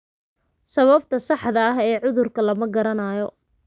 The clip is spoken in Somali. Sababta saxda ah ee cudurka Chilaiditi syndrome lama garanayo.